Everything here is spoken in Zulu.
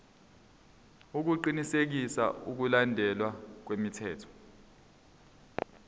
ukuqinisekisa ukulandelwa kwemithetho